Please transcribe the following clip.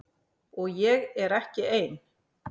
Og ég er ekki ein.